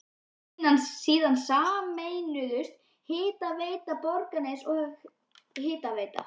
Síðan sameinuðust Hitaveita Borgarness og Hitaveita